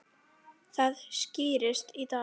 Það skýrist í dag.